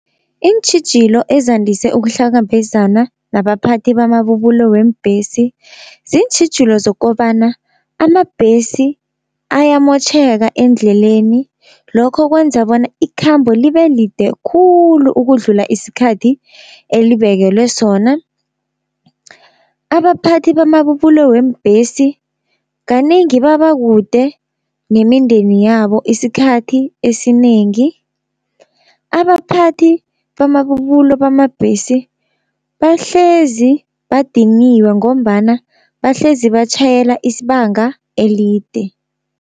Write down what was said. Iintjhijilo ezandise ukuhlangabezana nabaphathi bamabubulo weembhesi. Ziintjhijilo zokobana amabhesi ayamotjheka endleleni, lokho kwenza bona ikhambo libe lide khulu ukudlula isikhathi elibekelwe sona. Abaphathi bamabubulo weembhesi kanengi baba kude nemindeni yabo isikhathi esinengi. Abaphathi bamabubulo bamabhesi bahlezi badiniwe, ngombana bahlezi batjhayela isibanga elide.